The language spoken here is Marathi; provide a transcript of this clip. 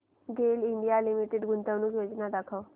गेल इंडिया लिमिटेड गुंतवणूक योजना दाखव